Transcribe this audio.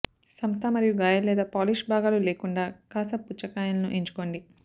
సంస్థ మరియు గాయాలు లేదా పాలిష్ భాగాలు లేకుండా కాసాబ్ పుచ్చకాయలను ఎంచుకోండి